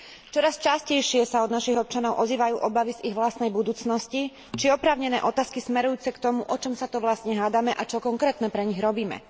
Čoraz častejšie sa od našich občanov ozývajú obavy z ich vlastnej budúcnosti či oprávnené otázky smerujúce k tomu, o čom sa to vlastne hádame a čo konkrétne pre nich robíme.